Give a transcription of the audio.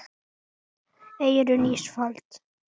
Eyrún Ísfold.